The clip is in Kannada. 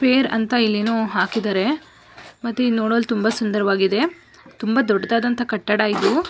ಫೇರ್ ಅಂತ ಇಲ್ ಏನೋ ಹಾಕಿದ್ದಾರೆ ಮತ್ ಇದ್ ನೋಡಲು ತುಂಬಾ ಸುಂದರವಾಗಿದೆ ತುಂಬಾ ದೊಡ್ಡದಾದಂಥ ಕಟ್ಟಡ ಇದು-